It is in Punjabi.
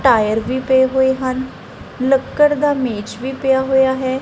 ਟਾਇਰ ਵੀ ਪਏ ਹੋਏ ਹਨ ਲੱਕੜ ਦਾ ਮੇਜ ਵੀ ਪਿਆ ਹੋਇਆ ਹੈ।